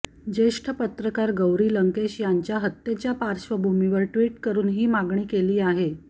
ज्येष्ठ पत्रकार गौरी लंकेश यांच्या हत्येच्या पार्श्वभूमीवर ट्विट करुन ही मागणी केली आहे